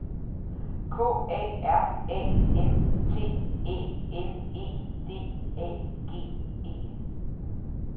K A R A N T Æ N E D A G E